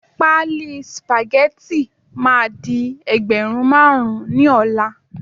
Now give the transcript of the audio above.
pálí spaghetti ma di ẹgbẹrun marun ni ola